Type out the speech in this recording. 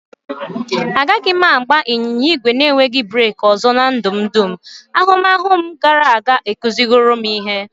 Agaghị m agba ịnyịnya ígwè na-enweghị breeki ọzọ na ndụ m dum, ahụmahụ m gara aga akụziworo ihe.